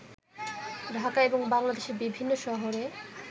ঢাকা এবং বাংলাদেশের বিভিন্ন শহরে